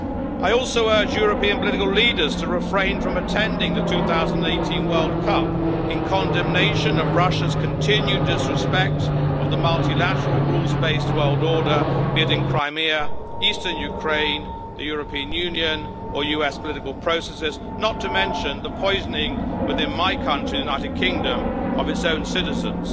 I also urge European political leaders to refrain from attending the 2018 World Cup in condemnation of Russia's continued disrespecting of the multilateral, rules based world order, be it in Crimea, eastern Ukraine, the European Union or US political processes not to mention the poisoning, within my country, the United Kingdom, of its own citizens.